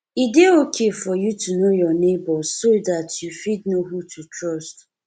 e dey okay for you to know your neigbours so dat you fit know who to trust